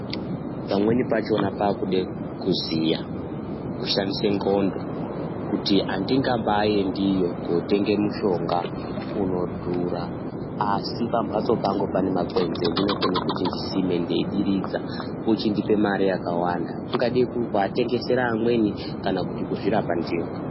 Pamweni pachona paakuda kuziya kushandise ngqondo, kuti andingambaaendi iyo, kotenge mushonga unodhura, asi pamphatso pangu pane makwenzi endinokone kuti ndisime ndeidiridza. Ochindipe mare yakawanda. Kungadai kuti kuatengesera amweni kana kuti kuzvirapa ndiwo.